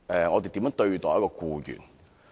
我們如何對待僱員？